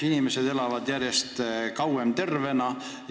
Inimesed elavad järjest kauem tervena.